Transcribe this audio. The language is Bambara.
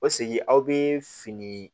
O segin aw bɛ fini